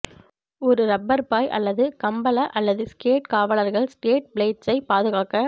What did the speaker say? ஒரு ரப்பர் பாய் அல்லது கம்பள அல்லது ஸ்கேட் காவலர்கள் ஸ்கேட் பிளேட்ஸைப் பாதுகாக்க